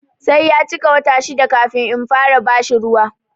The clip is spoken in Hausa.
Sai ya cika wata shida kafin in fara bashi ruwa.